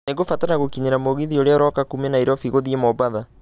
Nĩ ngũbatara gũkinyĩra mũgithi ũrĩa ũroka kuuma Nairobi gũthiĩ mombatha